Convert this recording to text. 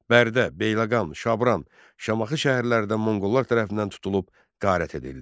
Bərdə, Beyləqam, Şabran, Şamaxı şəhərlər də monqollar tərəfindən tutulub qarət edildi.